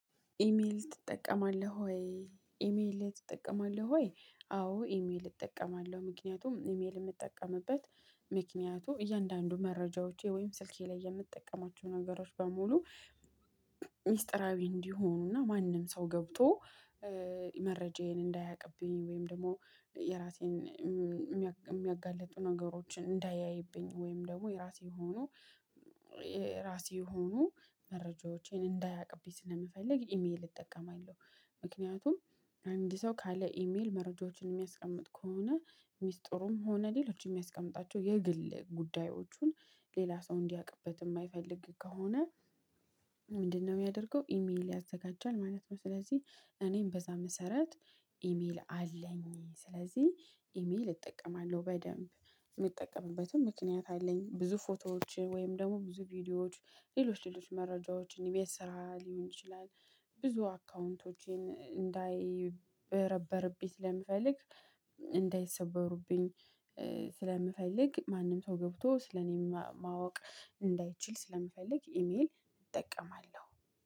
ኢሜል ትጠቀማለህ ወይ ኢሜል ትጠቀማለህ ወይ? አዎ ኢሜል እጠቀማለሁ። ምክንያቱም ኢሜል የምጠቀምበት ምክንያቱ እያንዳንዱ መረጃዎቼ ወይም ስልኬ ላይ የምጠቀማቸው ነገሮች በሙሉ። ሚስጥራዊ እንዲሆኑና ማንም ሰው ገብቶ መረጃዬን እንዳያቅብኝ ወይም ደግሞ የራሴን የሚያጋልጡ ነገሮችን እንዳያይብኝ ወይም ደግሞ የራሴ ሆኖ የራሴ ሆኖ መረጃዎቼን እንዳያቅብኝ ስለምፈልግ ኢሜል እጠቀማለሁ። ምክንያቱም አንድ ሰው ካለ ኢሜል መረጃዎችን የሚያስቀምጥ ከሆነ ሚስጥሩም ሆነ ሌሎች የሚያስቀምጣቸው የግል ጉዳዮቹን ሌላ ሰው እንዲያቅበት የማይፈልግ ከሆነ። ምንድነው የሚያደርገው ኢሜል ያዘጋጃል ማለት ነው። ስለዚህ እኔም በዛ መሰረት ኢሜል አለኝ ስለዚህ ኢሜል እጠቀማለሁ። በደንብ የምጠቀምበትን ምክንያት አለኝ ብዙ ፎቶዎችን ወይም ደግሞ ብዙ ቪዲዮዎች ሌሎች ሌሎች መረጃዎች የቤት ስራ ሊሆን ይችላል። ብዙ አካውንቶቼን እንዳይበረበርብኝ ስለምፈልግ እንዳይሰበሩብኝ ስለምፈልግ ማንም ሰው ገብቶ ስለእኔም ማወቅ እንዳይችል ስለምፈልግ ኢሜል እጠቀማለሁ